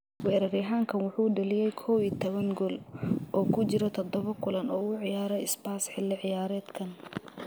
Weeraryahankan wuxuu dhaliyay kow iyo tawan gool oo ku jira toddobo kulan oo uu ciyaaray Spurs xilli ciyaareedkan.